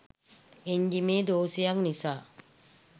එන්ජිමේ දෝෂයක් නිසා